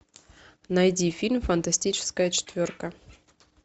найди фильм фантастическая четверка